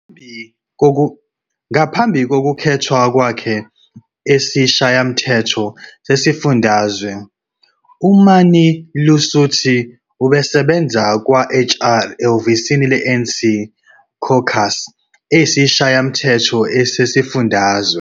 Ngaphambi kokukhethwa kwakhe esiShayamthetho sesifundazwe, uMani-Lusithi ubesebenza kwa-HR ehhovisi le-ANC Caucus eSishayamthetho sesifundazwe.